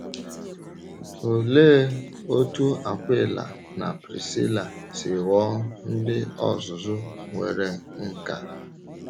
Ólee otú Akwịla na Prisíla si ghọọ ndị ọ̀zụ̀zụ nwere nkà?